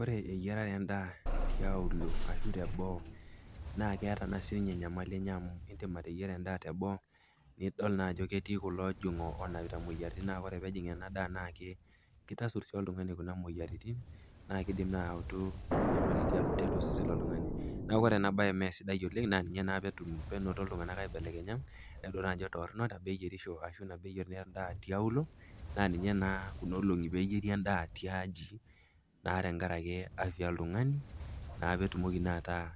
Ore eyiarare endaa tiaulo ashu teboo naa eata naa sininye enyamali enye amu indim ateyiera endaa teboo nidol naa ajo ketii kulo ojong'ok onapita imoyiaritin naa ore peejing ena daa naake keitasur oltung'ani kuna moyiaritin naa keidim naa ayautu enyamali tiatua osesen loltung'ani. Neaku ore ena bae mee sidai oleng naa ninye naa peinoto iltung'ana aibelekenya etadua naa ajo torrono nabo eyerisho ashu nabo eyer naa endaa tiaulo naa ninye naa kuna olong'i pee eyeri endaa tiaji naa tenkarake afya oltung'ani naa peetumoki naa ataa